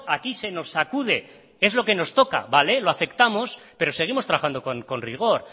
aquí se nos sacude es lo que nos toca vale lo aceptamos pero seguimos trabajando con rigor